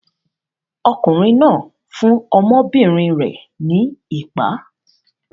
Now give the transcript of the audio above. Ọkùnrin náà fún ọmọbìnrin rẹ̀ ní ìpá.